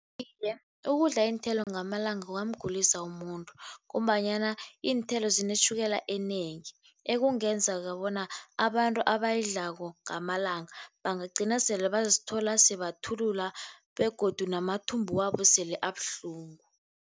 Iye, ukudla iinthelo ngamalanga kungamgulisa umuntu, ngombanyana iinthelo zinetjhukela enengi ekungenzeka bona abantu abayidlako ngamalanga bangagcina sele bazithola sebathulula begodu namathumbu wabo sele abuhlungu.